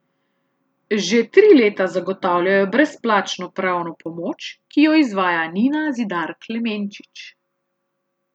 Že tri leta zagotavljajo brezplačno pravno pomoč, ki jo izvaja Nina Zidar Klemenčič.